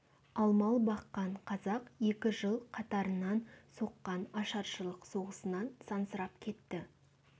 ал мал баққан қазақ екі жыл қатарынан соққан ашаршылық соғысынан сансырап кетті